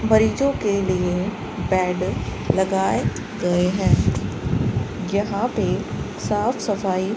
मरीजों के लिए बेड लगाए गए हैं यहां पे साफ सफाई --